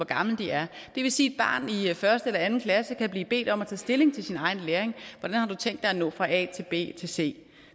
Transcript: gamle de er det vil sige at i første eller anden klasse kan blive bedt om at tage stilling til sin egen læring hvordan har du tænkt dig at nå fra a til b til c